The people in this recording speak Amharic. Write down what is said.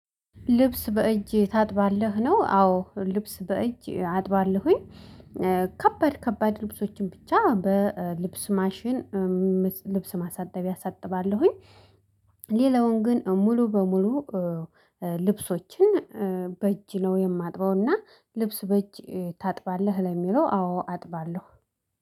ልብስ በእጅ ታጥባለህ ነው? አዎ ልብስ በእጅ አጥባለሁኝ። ከባድ ከባድ ልብሶችን ብቻ በልብስ ማሽን። ልብስ ማሳ ጣቢያ አሳጥባለሁኝ። ሌላውን ግን ሙሉ በሙሉ ልብሶችን። በእጅ ነው የማጥበው። እና ልብስ በእጅ ታጥባለህ ለሚለው? አዎ አጥባለሁ